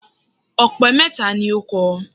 Ọ̀pẹ mẹ́ta ni ó kọ